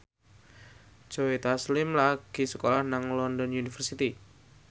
Joe Taslim lagi sekolah nang London University